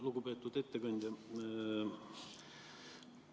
Lugupeetud ettekandja!